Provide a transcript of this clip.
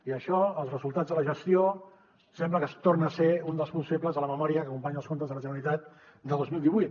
i això els resultats de la gestió sembla que torna a ser un dels punts febles de la memòria que acompanya els comptes de la generalitat de dos mil divuit